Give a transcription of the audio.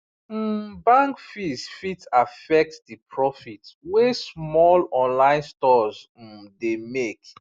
um bank fees fit affect the profit wey small online stores um dey make